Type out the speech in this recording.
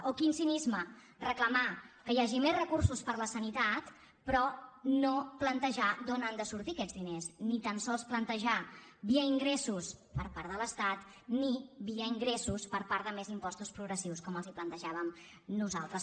o quin cinisme reclamar que hi hagi més recursos per a la sanitat però no plantejar d’on han de sortir aquests diners ni tan sols plantejar via ingressos per part de l’estat ni via ingressos per part de més impostos progressius com els plantejàvem nosaltres